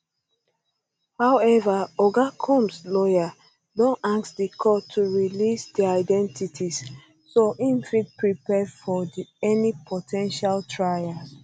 however oga combs lawyers don ask di courts to release dia identities so im fit prepare well for any po ten tial trial